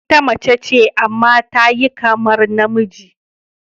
Ita mace ce amma ta yi kamar namiji.